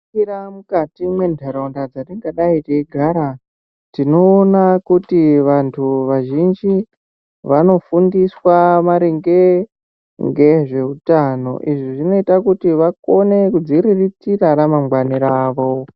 Tikaningira mukati mwentaraunda dzatingadayi teigara tinoona kuti vantu vazhinji vanofundiswa maringe ngezveutano. Izvi zvinoita kuti vakone kudziriritira ramangwani ravo.